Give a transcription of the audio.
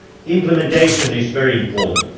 Implementation is very important.